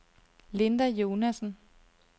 Linda Jonassen